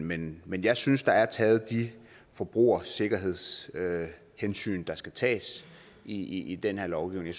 men men jeg synes der er taget de forbrugersikkerhedshensyn der skal tages i i den her lovgivning